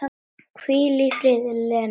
Hvíl í friði, Lella mín.